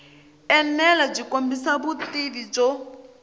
enela byi kombisa vutivi byo